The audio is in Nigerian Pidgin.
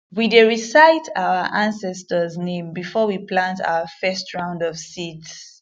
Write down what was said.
we dey recite our ancestors name before we plant our first round of seeds